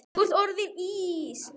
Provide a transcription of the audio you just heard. Þú ert orðinn Ís